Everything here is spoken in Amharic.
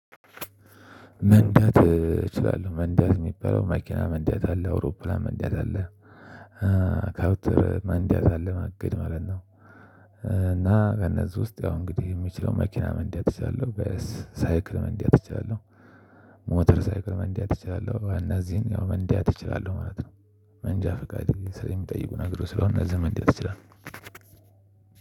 መንዳት እችላለሁ። መንዳት የሚባለው መኪና መንዳት አለ። አውሮፕላን መንዳት አለ። መንዳት አለ። ማገት ማለት ነው። እና ከነዚህ ውስጥ ያው እንግዲህ የምችለው መኪና መንዳት እችላለሁ። ሳይክል መንዳት እችላለሁ። ሞተር ሳይክል መንዳት እችላለሁ። እነዚህን ያው መንዳት እችላለሁ ማለት ነው። መንጃ ፍቃድ ስለሚጠይቁ ነግሮ ስለሆነ እነዚህ መንዳት እችላለሁ።